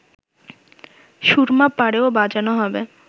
সুরমা পাড়েও বাজানো হবে